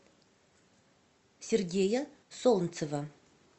сергея солнцева